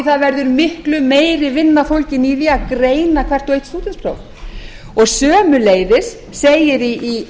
það verður miklu meiri vinna fólgin í því að greina hvert og eitt stúdentspróf og sömuleiðis segir í